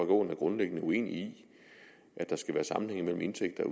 aaen er grundlæggende uenig i at der skal være sammenhæng mellem indtægter